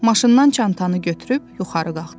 Maşından çantanı götürüb yuxarı qalxdı.